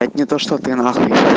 это не то что ты нахуй